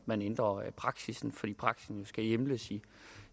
man ændrer praksis fordi praksis skal hjemles